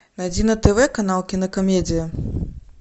найди на тв канал кинокомедия